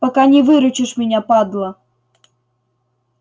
пока не выручишь меня падла